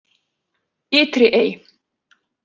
Ytri Ey